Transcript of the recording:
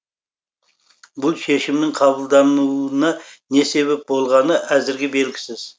бұл шешімнің қабылдануына не себеп болғаны әзірге белгісіз